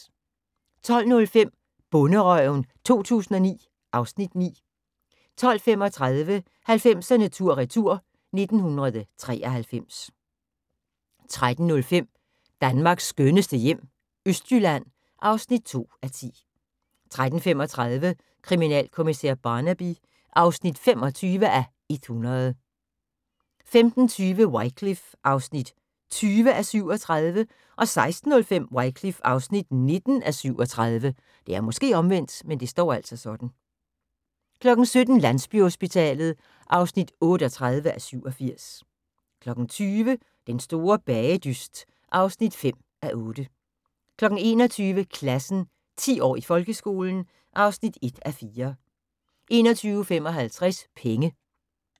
12:05: Bonderøven 2009 (Afs. 9) 12:35: 90'erne tur retur: 1993 13:05: Danmarks skønneste hjem - østjylland (2:10) 13:35: Kriminalkommissær Barnaby (25:100) 15:20: Wycliffe (20:37) 16:05: Wycliffe (19:37) 17:00: Landsbyhospitalet (38:87) 20:00: Den Store Bagedyst (5:8) 21:00: Klassen – 10 år i folkeskolen (1:4) 21:55: Penge